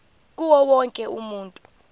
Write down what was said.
kuwo wonke umuntu